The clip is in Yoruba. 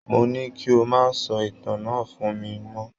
Mo ní kí o má sọ ìtàn náà fún mi mọ́